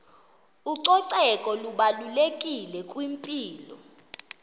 ucoceko lubalulekile kwimpilo